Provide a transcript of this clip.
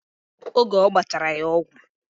Oge ọgbachara ya ọgwụ